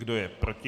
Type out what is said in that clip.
Kdo je proti?